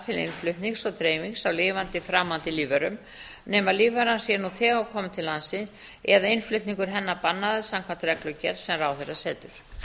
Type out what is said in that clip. til innflutnings og dreifingar á lifandi framandi lífverum nema lífveran sé nú þegar komin til landsins eða innflutningur hennar bannaður samkvæmt reglugerð sem ráðherra setur